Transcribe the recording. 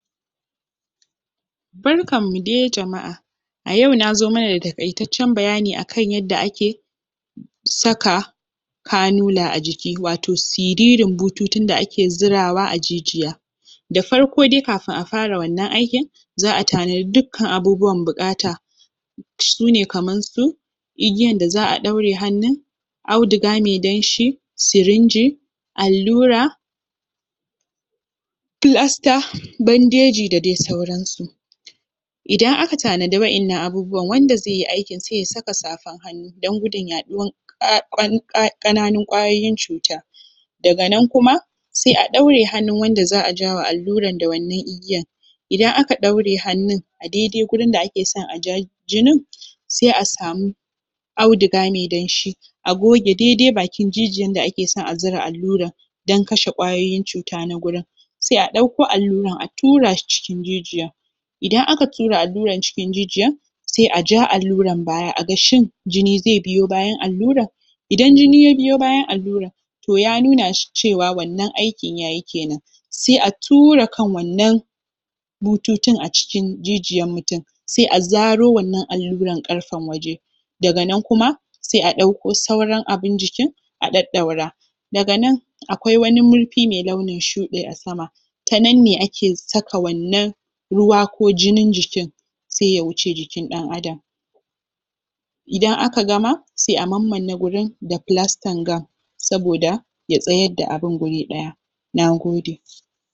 Barkanmu de jama’a a yau na zo mana da taƙaitaccen bayani akan yadda ake saka kanula a jiki, wato siririn bututun da ake zirawa a jijiya da farko dai kafin a fara wannan aikin za a tanadi dukkan abubuwan buƙata su ne kaman su igiyan da za a ɗaure hannun auduga me danshi sirinji allura flasta, bandeji da dai sauransu. Idan aka tanadi wa’innan abubuwan, wanda ze yi aikin sai ya sai saka safan hannu don gudun yaɗuwan Ƙananun ƙwayoyin cuta daga nan kuma sai a ɗaure hannun wanda za a jawa alluran da wannan igiyan idan aka ɗaure hannun a daidai gurin da ake son a ja jinin se a samu auduga me danshi a goge daidai bakin jijiyan da ake son a zura alluran don kashe ƙwayoyin cuta na gurin sai a ɗauko alluran a tura shi cikin jijiya idan aka tura alluran cikin jijiyan se a ja alluran baya a ga shin jini zai biyo bayan alluran idan jini ya biyo bayan alluran to ya nuna shi cewa wannan aikin ya yi kenan sai a tura kan wannan bututun a cikin jijiyan mutum sai a zaro wannan alluran ƙarfen waje daga nan kuma sai a ɗauko sauran abin jikin a ɗaɗɗaura daga nan akwai wani murfi mai launin shuɗi a sama ta nan ne ake saka wannan ruwa ko jinin jikin se ya wuce jikin ɗan adam idan aka gama se a mammane gurin da flastar gam saboda ya tsayar da abin guri ɗaya nagode